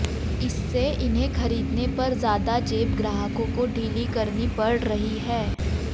इससे इन्हें खरीदने पर ज्यादा जेब ग्राहकों को ढीली करनी पड़ रही है